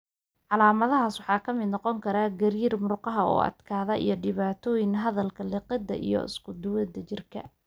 Calaamadahaas waxaa ka mid noqon kara gariir; murqaha oo adkaada; iyo dhibaatooyinka hadalka, liqidda iyo isku-duwidda jirka.